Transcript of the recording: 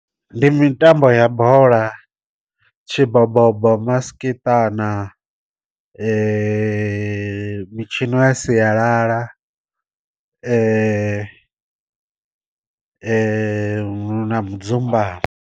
Ndi mitambo ya bola, tshi bobobo maskiṱana mitshino ya sialala na mudzumbamo.